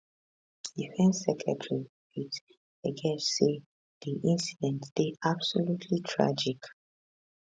defence secretary pete hegesth say di incident deyabsolutely tragic